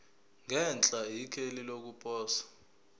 ngenhla ikheli lokuposa